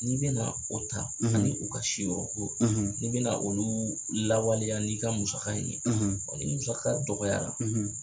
N'i bɛna o ta ani u ka si yɔrɔ ko n'i bɛna olu mun lawaleya n'i ka musaka in ye ni musaka dɔgɔyara